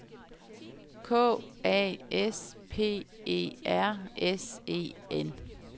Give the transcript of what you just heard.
K A S P E R S E N